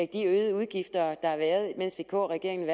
de øgede udgifter der har været i mens vk regeringen